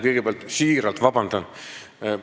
Kõigepealt palun siiralt vabandust!